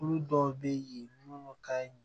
Olu dɔw bɛ ye munnu ka